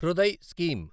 Hriday scheme